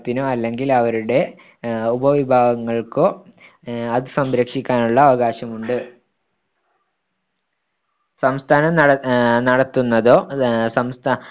ത്തിനോ അല്ലെങ്കിൽ അവരുടെ ഉപവിഭാഗങ്ങൾക്കോ അത് സംരക്ഷിക്കാനുള്ള അവകാശമുണ്ട് സംസ്ഥാനം ആഹ് നടത്തുന്നതൊ ആഹ് സംസ്ഥാന